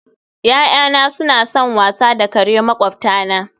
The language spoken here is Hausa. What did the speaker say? Ya'yana suna son wasa da kare makwabtana